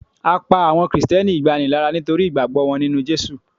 a pa awọn Kristẹni igbani lara nitori ìgbàgbọ wọn ninu Jesu